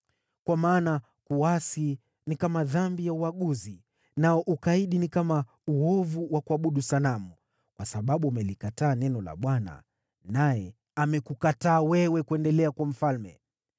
Kwa maana kuasi ni kama dhambi ya uaguzi, nao ukaidi ni kama uovu wa kuabudu sanamu. Kwa sababu umelikataa neno la Bwana , naye amekukataa wewe kuendelea kuwa mfalme.”